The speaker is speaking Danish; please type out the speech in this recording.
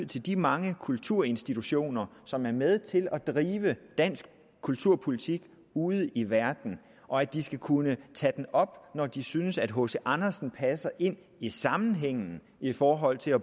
til de mange kulturinstitutioner som er med til at drive dansk kulturpolitik ude i verden og at de skal kunne tage det op når de synes at hc andersen passer ind i sammenhængen i forhold til at